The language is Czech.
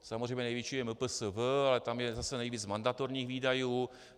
Samozřejmě největší je MPSV, ale tam je zase nejvíc mandatorních výdajů.